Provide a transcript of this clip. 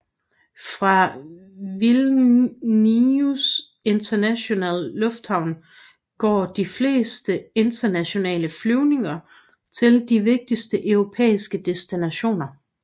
Fra Vilnius internationale lufthavn går de fleste internationale flyvninger til de vigtigste europæiske destinationer